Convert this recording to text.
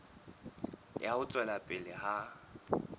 ya ho tswela pele ha